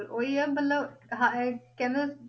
ਉਹੀ ਹੈ ਮਤਲਬ ਹਾਂ ਇਹ ਕਹਿੰਦੇ